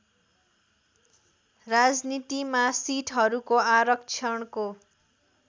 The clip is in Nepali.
राजनीतिमा सिटहरूको आरक्षणको